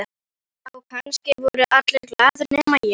Já, kannski voru allir glaðir nema ég.